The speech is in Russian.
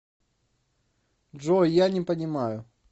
джой я не понимаю